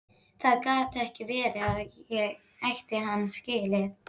Það gat ekki verið að ég ætti hann skilið.